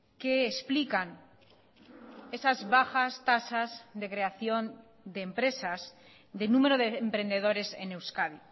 que explican esas bajas tasas de creación de empresas de número de emprendedores en euskadi